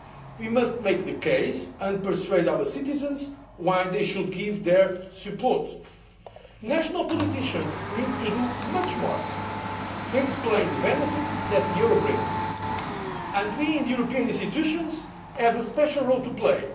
We must make the case and persuade our citizens why they should give their support. National politicians need to do much more to explain the benefits that the euro brings and we in the European institutions have a special role to play.